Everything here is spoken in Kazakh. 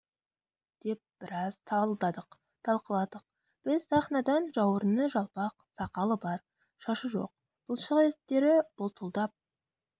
деп біраз талдадық талқыладық біз сахнадан жауырыны жалпақ сақалы бар шашы жоқ бұлшық еттері бұлтылдап